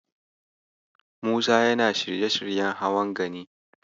Musa yana shirye-shiryen hawan Gani.